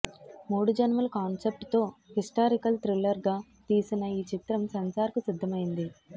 మూడు జన్మల కాన్సెప్ట్ తో హిస్టారికల్ థ్రిల్లర్ గా తీసిన ఈ చిత్రం సెన్సార్ కు సిద్దమయింది